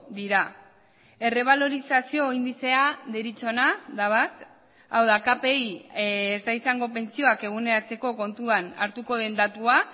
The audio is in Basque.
dira errebalorizazio indizea deritzona da bat hau da kpi ez da izango pentsioak eguneratzeko kontuan hartuko den datua